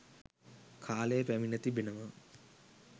කාලය පැමිණ තිබෙනවා